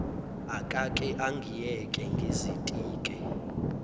akake angiyeke ngizitike